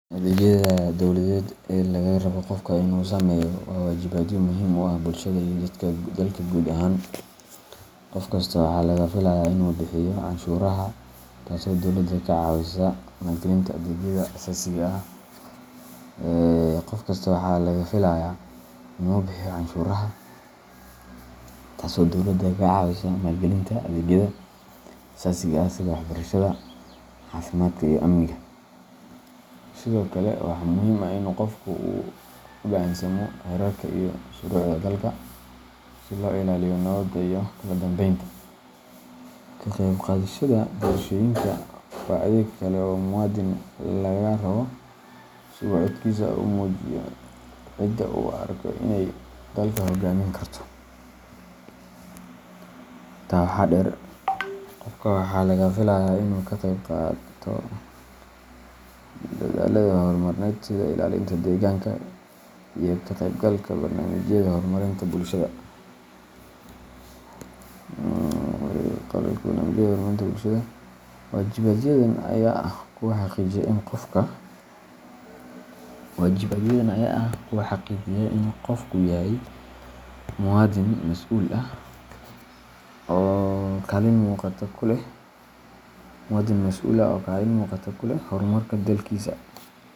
Adeegyada dowladeed ee laga rabo qofka inuu sameeyo waa waajibaadyo muhiim u ah bulshada iyo dalka guud ahaan. Qof kasta waxaa laga filayaa inuu bixiyo canshuuraha, taasoo dowladda ka caawisa maalgelinta adeegyada aasaasiga ah sida waxbarashada, caafimaadka, iyo amniga. Sidoo kale, waxaa muhiim ah in qofku uu u hogaansamo xeerarka iyo shuruucda dalka, si loo ilaaliyo nabadda iyo kala dambeynta. Ka qayb qaadashada doorashooyinka waa adeeg kale oo muwaadin laga rabo, si uu codkiisa ugu muujiyo cidda uu u arko inay dalka hoggaamin karto. Intaa waxaa dheer, qofka waxaa laga filayaa inuu ka qayb qaato dadaallada horumarineed sida ilaalinta deegaanka iyo ka qaybgalka barnaamijyada horumarinta bulshada. Waajibaadyadan ayaa ah kuwa xaqiijiya in qofku yahay muwaadin mas’uul ah oo kaalin muuqata ku leh horumarka dalkiisa.